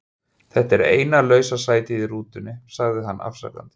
Þetta er eina lausa sætið í rútunni sagði hann afsakandi.